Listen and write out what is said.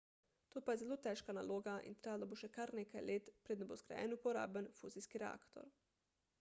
to pa je zelo težka naloga in trajalo bo še kar nekaj let preden bo zgrajen uporaben fuzijski reaktor